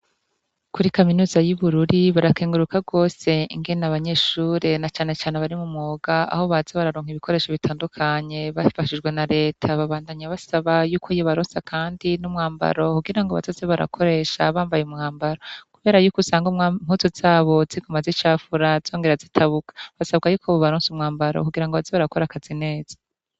Kuri kaminuza y'ibururi barakenguruka rwose ingene abanyeshure na canecane bari mu mwoga aho bazi bararonka ibikoresho bitandukanye bafashijwe na leta babandanya basaba yuko yibarosa, kandi n'umwambaro kugira ngo basaze barakoresha bambaye umwambaro, kubera yuko usanga wmputu zabo zigomaz' icafura zongera zitabuka basabwa yuko bubaronsi umwambaro kugira ngo abazibarakora akazi neza.